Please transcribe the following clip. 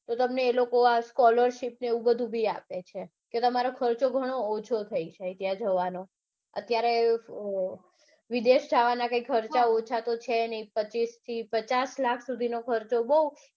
તો એ તમને એ લોકો આ scholarship ને એવું બધું બી આપે છે તો તમારો ખર્ચો ઘણો ઓછો થઇ જાય ત્યાં જવાનો અત્યારે અઅ વિદેશ જાવાના કાંઈ ખર્ચા ઓછા તો છે નઈ પચીસ થી પચાસ લાખ સુધીનો ખર્ચો બઉ